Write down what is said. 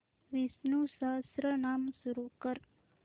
विष्णु सहस्त्रनाम सुरू कर